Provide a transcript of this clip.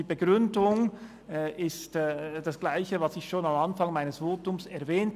Die Begründung habe ich bereits am Anfang meines Votums erwähnt: